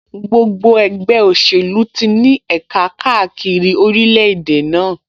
Gbogbo ẹgbẹ́ òṣèlú ti ní ẹ̀ka káàkiri orílẹ̀-èdè náà